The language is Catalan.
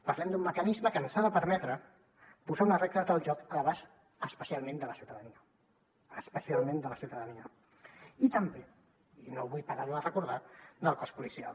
parlem d’un mecanisme que ens ha de permetre posar unes regles del joc a l’abast especialment de la ciutadania especialment de la ciutadania i també i no vull parar ho de recordar del cos policial